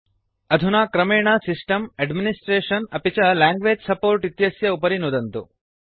अधुना क्रमेण system administration अपि च लैंग्वेज सपोर्ट इत्यस्य उपरि नुदन्तु